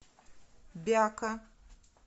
бяка